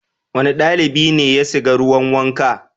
Wane ɗalibi ne ya siga ruwan wanka?